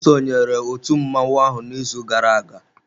Ọ sonyeere otu mmọnwụ ahụ n'izu gara aga.